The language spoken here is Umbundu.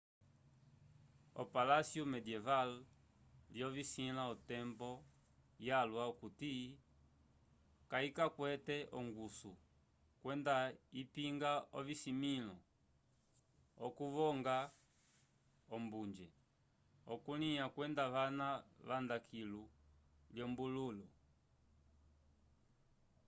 opalasyo mendyeval lyovisila otembo yalwa okuti kayikwete ongusu kwenda ipinga ovimĩlo okukovonga ombunje okulya kwenda vana vanda kilu lyolombulu